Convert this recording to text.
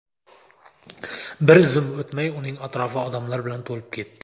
Bir zum o‘tmay, uning atrofi odamlar bilan to‘lib ketdi.